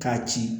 K'a ci